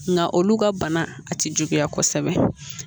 Nka olu ka bana a tɛ juguya kosɛbɛ